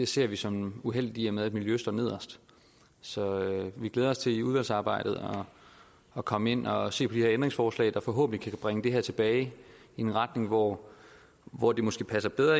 ser vi som uheldigt i og med at miljøet står nederst så vi glæder os til i udvalgsarbejdet at komme ind og se på de ændringsforslag der forhåbentlig kan bringe det her tilbage i en retning hvor hvor det måske passer bedre